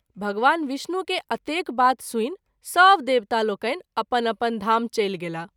भगवान विष्णु के अतेक बात सुनि सभ देवता लोकनि अपन अपन धाम चल गेलाह।